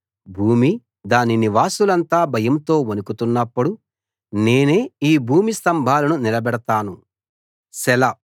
భూమి దాని నివాసులంతా భయంతో వణుకుతున్నప్పుడు నేనే ఈ భూమి స్థంభాలను నిలబెడతాను సెలా